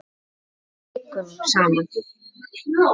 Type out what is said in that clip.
Jafnvel vikunum saman.